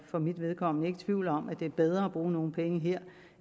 for mit vedkommende ikke tvivl om at det er bedre at bruge nogle penge her